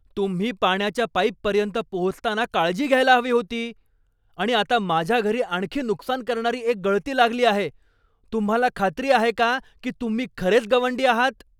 तुम्ही पाण्याच्या पाईपपर्यंत पोहोचताना काळजी घ्यायला हवी होती, आणि आता माझ्या घरी आणखी नुकसान करणारी एक गळती लागली आहे! तुम्हाला खात्री आहे का की तुम्ही खरेच गवंडी आहात?